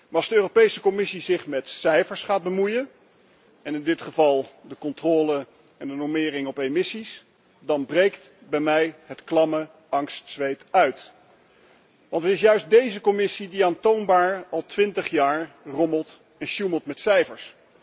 Maar als de Europese Commissie zich met cijfers gaat bemoeien, en in dit geval met de controle op en de normering van emissies, dan breekt bij mij het klamme angstzweet uit. Want het is juist deze Commissie die aantoonbaar al twintig jaar rommelt en sjoemelt met cijfers.